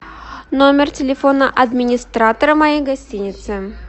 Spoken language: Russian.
номер телефона администратора моей гостиницы